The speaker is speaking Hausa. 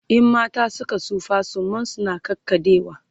in mata Suka tsufa suman su na ƙaƙaɗewa